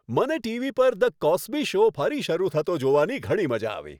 મને ટીવી પર "the Cosby show" ફરી શરૂ થતો જોવાની ઘણી મજા આવી.